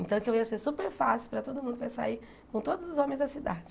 Então, que eu ia ser super fácil para todo mundo que eu ia sair, com todos os homens da cidade.